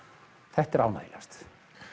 þetta er ánægjulegast